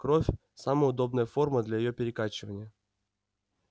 кровь самая удобная форма для её перекачивания